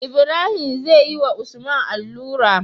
Ibrahim zeyi wa usman allura